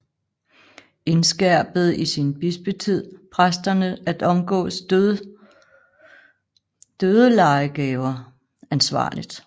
Indskærpede i sin bispetid præsterne at omgås dødelejegaver ansvarligt